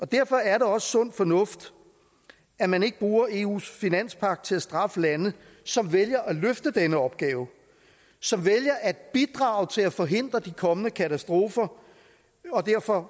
derfor er det også sund fornuft at man ikke bruger eus finanspagt til at straffe lande som vælger at løfte denne opgave som vælger at bidrage til at forhindre de kommende katastrofer og derfor